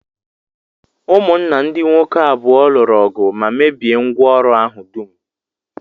Ụmụnna ndị nwoke abụọ lụrụ ọgụ ma mebie ngwá ọrụ ahụ dum